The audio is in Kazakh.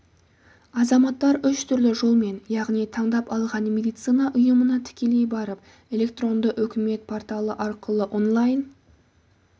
азаматтар үш түрлі жолмен яғни таңдап алған медицина ұйымына тікелей барып электронды үкімет порталы арқылы онлайн